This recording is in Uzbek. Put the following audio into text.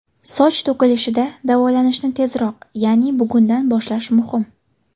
Soch to‘kilishida davolanishni tezroq ya’ni bugundan boshlash muhim.